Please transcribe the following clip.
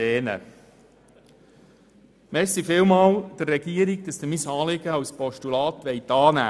Ich danke der Regierung vielmals, dass sie bereit ist, mein Anliegen in Form eines Postulats entgegenzunehmen.